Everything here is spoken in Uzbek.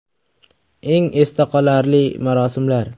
Eng esda qolarli marosimlar .